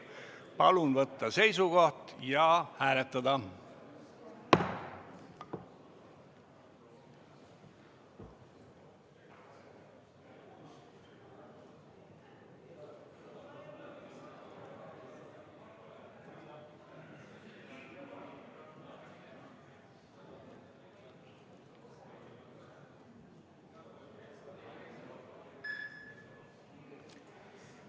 Palun võtta seisukoht ja hääletada!